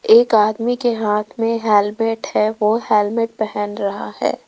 एक आदमी के हाथ में हेलमेट है वो हेलमेट पहेन रहा है।